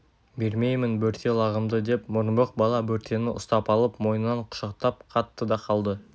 бермеймін бөрте лағымды деп мұрынбоқ бала бөртені ұстап алып мойнынан құшақтап қатты да қалды